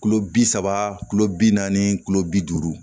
Kulo bi saba kulo bi naani kulo bi duuru